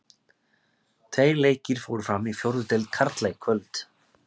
Tveir leikir fóru fram í fjórðu deild karla í kvöld.